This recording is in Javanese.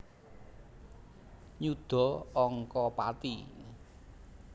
Nyuda angka pati